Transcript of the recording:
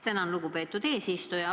Tänan, lugupeetud eesistuja!